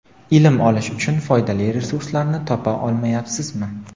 Ilm olish uchun foydali resurslarni topa olmayabsizmi?.